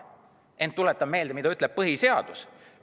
Ent tuletan meelde, mida ütleb põhiseadus.